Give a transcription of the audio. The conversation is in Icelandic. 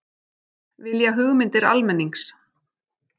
Vilja hugmyndir almennings